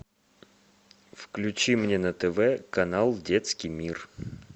включи мне на тв канал детский мир